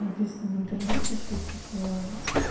написано в интернете что типа